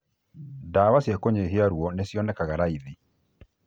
Ndawa cia kũnyihia ruo nĩcionekaga raithi